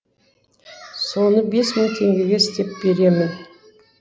соны бес мың теңгеге істеп беремін